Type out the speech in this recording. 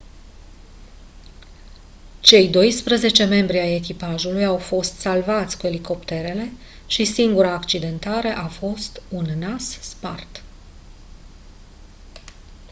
cei doisprezece membri ai echipajului au fost salvați cu elicopterele și singura accidentare a fost un nas spart